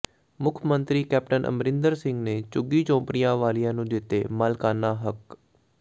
ਮੁੱਖ ਮੰਤਰੀ ਕੈਪਟਨ ਅਮਰਿੰਦਰ ਸਿੰਘ ਨੇ ਝੁੱਗੀ ਝੌਂਪੜੀਆਂ ਵਾਲਿਆਂ ਨੂੰ ਦਿੱਤੇ ਮਾਲਕਾਨਾ ਹੱਕ